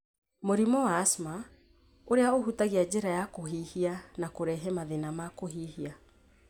Mũrimũ wa asthma, ũrĩa ũhutagia njĩra ya kũhihia na kũrehe mathĩna ma kũhihia.